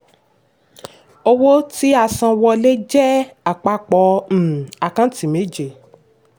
owó tí-a-san-wọ́lé jẹ àpapọ̀ um àkántì méje.